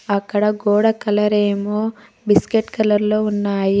అక్కడ గోడ కలర్ ఏమో బిస్కెట్ కలర్ లో ఉన్నాయి.